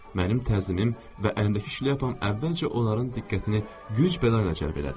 Mənim təzimim və əlimdəki şlyapam əvvəlcə onların diqqətini güc bəla ilə cəlb elədi.